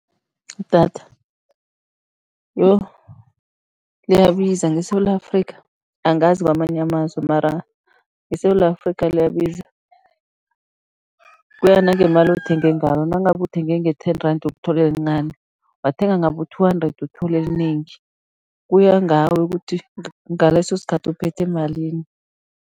Idatha, yoh, Liyabiza ngeSewula Afrika, angazi kwamanye amazwe mara eSewula Afrika liyabiza, kuya nangemali othenge ngayo, nangabe uthenge nge-ten rand, uyokuthola elincani, wathenge ngabo-two hundred uthola elinengi, kuya ngawe ukuthi ngaleso sikhathi uphethe malini.